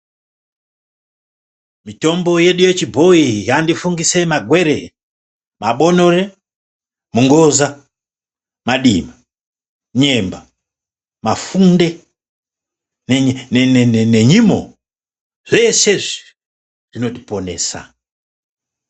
Mitombo yedu yechibhoyi yandifungise magwere, mabonore , mungoza , madima, nyemba ,mafunde nenyimo. Zvese izvi zvinotiponesa.